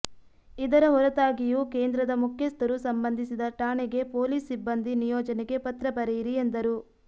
ಇದರ ಹೊರತಾಗಿಯೂ ಕೇಂದ್ರದ ಮುಖ್ಯಸ್ಥರು ಸಂಬಂಧಿಸಿದ ಠಾಣೆಗೆ ಪೊಲೀಸ್ ಸಿಬ್ಬಂದಿ ನಿಯೋಜನೆಗೆ ಪತ್ರ ಬರೆಯಿರಿ ಎಂದರು